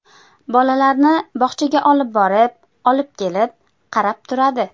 Bolalarni bog‘chaga olib borib, olib kelib, qarab turadi.